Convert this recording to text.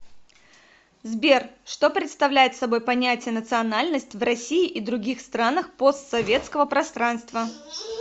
сбер что представляет собой понятие национальность в россии и других странах постсоветского пространства